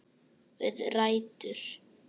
Við rætur